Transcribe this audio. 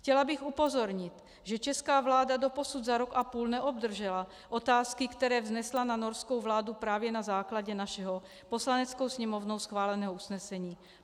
Chtěla bych upozornit, že česká vláda doposud za rok a půl neobdržela otázky, které vznesla na norskou vládu právě na základě našeho Poslaneckou sněmovnou schváleného usnesení.